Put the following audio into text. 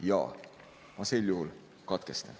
Jaa, ma sel juhul katkestan.